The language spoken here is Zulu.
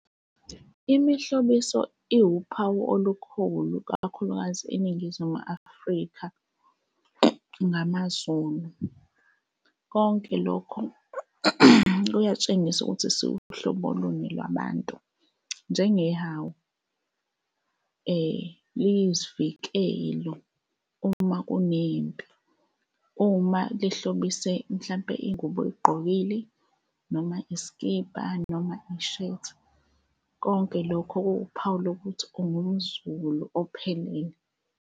Imihlobiso iwuphawu olukhulu kakhulukazi eNingizimu Afrika ngamaZulu. Konke lokho kuyatshengisa ukuthi siwuhlobo luni lwabantu, njenge hawu liyisivikeli uma kunempi, uma lihlobise mhlawumpe ingubo oyigqokile noma iskibha, noma ishethi, konke lokho kuwuphawu lokuthi ongumZulu ophelele.